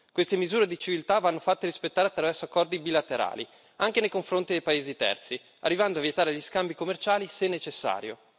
Queste misure di civiltà vanno fatte rispettare attraverso accordi bilaterali, anche nei confronti dei paesi terzi, arrivando a vietare gli scambi commerciali se necessario.